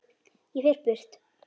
Ég fer burt.